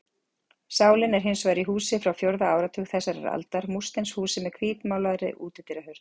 Sálin er hins vegar í húsi frá fjórða áratug þessarar aldar, múrsteinshúsi með hvítmálaðri útidyrahurð.